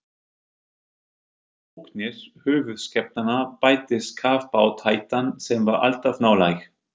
Við ógnir höfuðskepnanna bættist kafbátahættan, sem var alltaf nálæg.